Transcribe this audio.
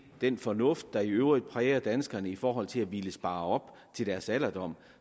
den fornuft der i øvrigt præger danskerne i forhold til at ville spare op til deres alderdom